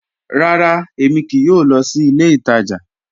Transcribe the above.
Ràrá, èmi kìí yóò lọ sí ilẹ̀ ìtaja